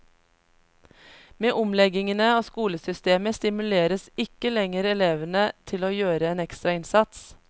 Med omleggingene av skolesystemet stimuleres ikke lenger elevene til å gjøre en ekstra innsats.